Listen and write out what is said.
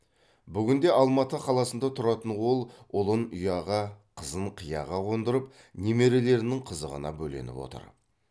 бүгінде алматы қаласында тұратын ол ұлын ұяға қызын қияға қондырып немерелерінің қызығына бөленіп отыр